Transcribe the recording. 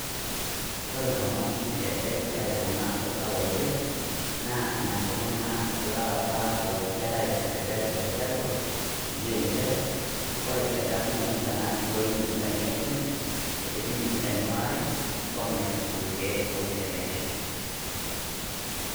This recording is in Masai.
Kore lomon le det laibung'a oltau oleng', naa nashomo naa lara opa loti lorais Rigathi Gashagua ajo nchere, kore te Cabinet tenaa sii tolministani le Kenya, etii ilministani waare oomirr ilkeek oitemerisho.